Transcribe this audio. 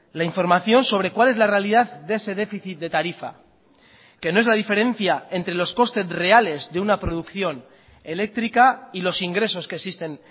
la información sobre cuál es la realidad de ese déficit de tarifa que no es la diferencia entre los costes reales de una producción eléctrica y los ingresos que existen